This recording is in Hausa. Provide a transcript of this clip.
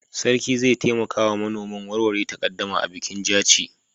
Sarki zai taimaka wa manoman warware takaddama a bikin Jaci.